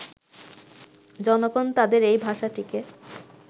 জনগণ তাঁদের এই ভাষাটিকে